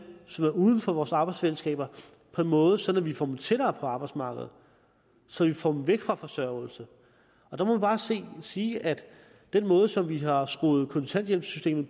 som er uden for vores arbejdsfællesskaber på en måde så vi får dem tættere på arbejdsmarkedet og så vi får dem væk fra forsørgelse der må man bare sige at den måde som videre har skruet kontanthjælpssystemet